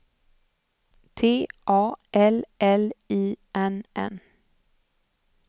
T A L L I N N